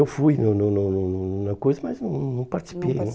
Eu fui no no no no no na coisa, mas não não participei. Não